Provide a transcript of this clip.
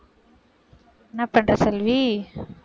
என்ன பண்ற செல்வி?